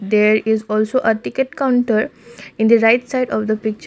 there is also a ticket counter in the right side of the picture.